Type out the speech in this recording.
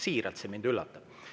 Siiralt, see mind üllatab.